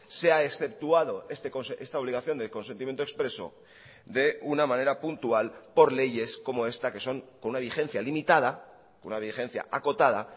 sea exceptuado esta obligación del consentimiento expreso de una manera puntual por leyes como esta que son con una vigencia limitada una vigencia acotada